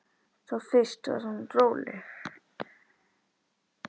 Þá fyrst varð hún róleg.